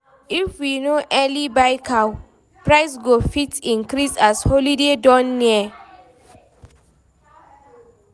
If we no early buy cow, price go fit increase as holiday don near.